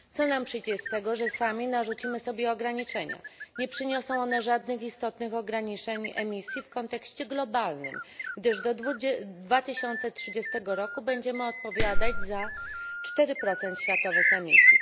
Co nam przyjdzie z tego, że sami narzucimy sobie ograniczenia? Nie przyniosą one żadnych istotnych ograniczeń emisji w kontekście globalnym, gdyż do 2030 roku będziemy odpowiadać za 4 światowych emisji.